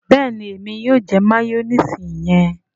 béèni Èmi yóò jẹ mayonnaise yẹn.